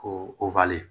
Ko